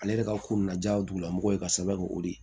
Ale yɛrɛ ka ko na ja dugulamɔgɔ ye ka sɛbɛn kɛ o de ye